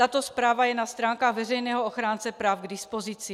Tato zpráva je na stránkách veřejného ochránce práv k dispozici.